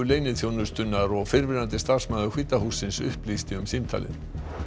leyniþjónustunnar og fyrrverandi starfsmaður hvíta hússins upplýsti um símtalið